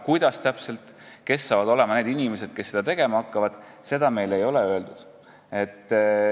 Kuidas täpselt, kes saavad olema need inimesed, kes seda tegema hakkavad, seda meile ei ole öeldud.